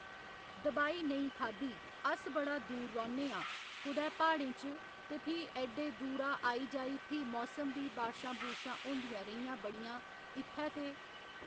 दबाई नेईं खाद्धी अस बड़ा दूर रौहन्ने हां कुदै प्हाड़ें च ते फ्ही ऐड्डे दूरा आई जाई फ्ही मौसम बी बारिशां बूरशां होदियां रेहियां बड़ियां इत्थै ते